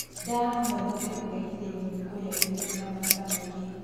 Ndaa noĩhote kurehithirio ni kurĩa irio ciĩna maguta maĩ ngi